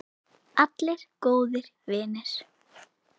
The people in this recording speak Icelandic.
Allir góðir vinir.